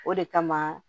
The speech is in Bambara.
O de kama